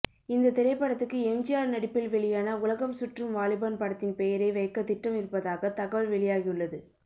இந்த திரைப்படத்துக்கு எம்ஜிஆர் நடிப்பில் வெளியான உலகம் சுற்றும் வாலிபன் படத்தின் பெயரை வைக்க திட்டம் இருப்பதாக தகவல் வெளியாகியுள்ளது